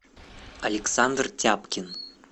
александр тяпкин